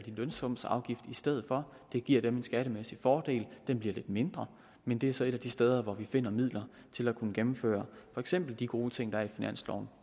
lønsumsafgift i stedet for det giver dem en skattemæssig fordel den bliver lidt mindre men det er så et af de steder hvor vi finder midler til at kunne gennemføre for eksempel de gode ting der er i finansloven